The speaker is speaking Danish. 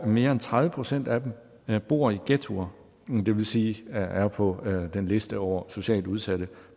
mere end tredive procent af dem bor i ghettoer det vil sige er er på den liste over socialt udsatte